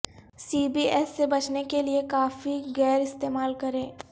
سی B S سے بچنے کے لئے کافی گئر استعمال کریں